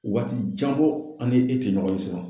Waati jan bɔ an ni e tɛ ɲɔgɔn ye sisan.